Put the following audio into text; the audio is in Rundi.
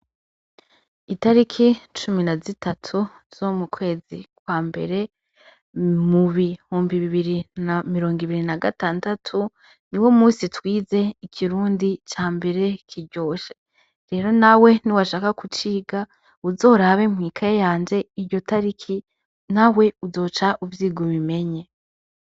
Itariki cumi na zitatu zo mukwezi kwa mberee mubihumbi ibibiri na mirongo na gatandatu niwo musi twize ikirundi cambere kiryoshe. Rero nawe niwashaka kuciga uzorabe mw'ikaye yanje iryo tariki nawe uzoca uvyiga ubimenye.